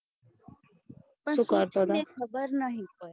સુ કરતો હતો